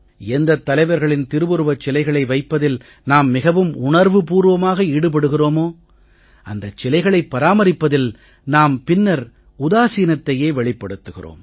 எந்தத் தலைவர்களின் திருவுருவச் சிலைகளை வைப்பதில் நாம் மிகவும் உணர்வு பூர்வமாக ஈடுபடுகிறோமோ அந்தச் சிலைகளைப் பராமரிப்பதில் நாம் பின்னர் உதாசீனத்தையே வெளிப்படுத்துகிறோம்